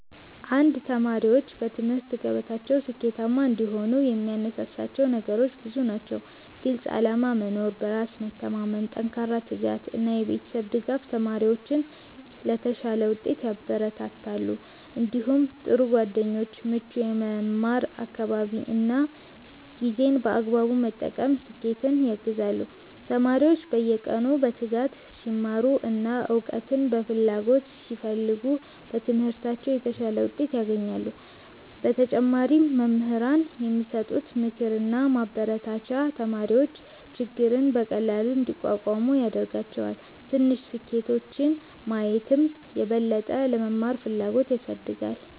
1ተማሪዎች በትምህርት ገበታቸው ስኬታማ እንዲሆኑ የሚያነሳሳቸው ነገሮች ብዙ ናቸው። ግልፅ ዓላማ መኖር፣ በራስ መተማመን፣ ጠንካራ ትጋት እና የቤተሰብ ድጋፍ ተማሪዎችን ለተሻለ ውጤት ያበረታታሉ። እንዲሁም ጥሩ ጓደኞች፣ ምቹ የመማር አካባቢ እና ጊዜን በአግባቡ መጠቀም ስኬትን ያግዛሉ። ተማሪዎች በየቀኑ በትጋት ሲማሩ እና እውቀትን በፍላጎት ሲፈልጉ በትምህርታቸው የተሻለ ውጤት ያገኛሉ። በተጨማሪም መምህራን የሚሰጡት ምክርና ማበረታቻ ተማሪዎች ችግርን በቀላሉ እንዲቋቋሙ ያደርጋቸዋል። ትንሽ ስኬቶችን ማየትም የበለጠ ለመማር ፍላጎት ያሳድጋል።